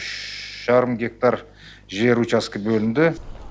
үш жарым гектар жер учаскі бөлінді